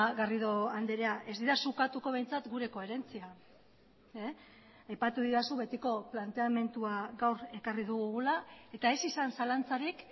garrido andrea ez didazu ukatuko behintzat gure koherentzia aipatu didazu betiko planteamendua gaur ekarri dugula eta ez izan zalantzarik